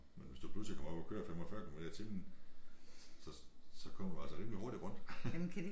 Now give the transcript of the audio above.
Men hvis du pludselig kommer op og kører 45 kilometer i timen så så kommer du altså rimelig hurtigt rundt